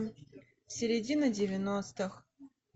середина девяностых